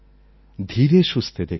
ধীরে সুস্থে দেখুন